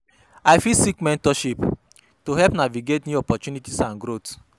I fit seek mentorship to help me navigate new opportunities and growth.